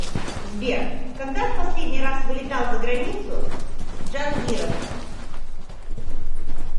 сбер когда в последний раз вылетал за границу джангиров